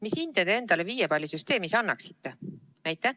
Mis hinde te endale viiepallisüsteemis annaksite?